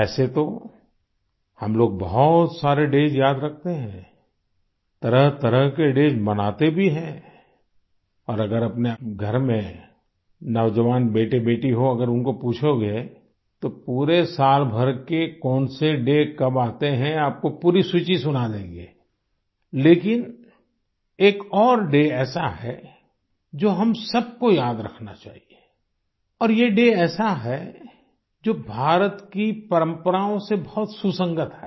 वैसे तो हम लोग बहुत सारे डेज याद रखते हैं तरहतरह के डेज मनाते भी हैं और अगर अपने घर में नौजवान बेटेबेटी हों अगर उनको पूछोगे तो पूरे सालभर के कौन से डे कब आते हैं आपको पूरी सूची सुना देंगे लेकिन एक और डे ऐसा है जो हम सबको याद रखना चाहिए और ये डे ऐसा है जो भारत की परम्पराओं से बहुत सुसंगत है